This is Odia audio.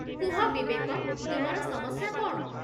କୁହ ବିବେକ, ତୁମର ସମସ୍ୟା କ'ଣ?